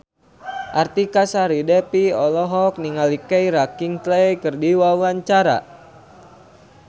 Artika Sari Devi olohok ningali Keira Knightley keur diwawancara